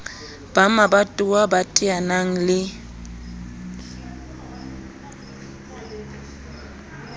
ba mabatowa ba teanang le